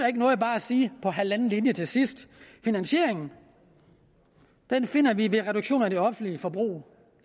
ikke noget bare at sige på halvanden linje til sidst finansieringen finder vi ved reduktioner i det offentlige forbrug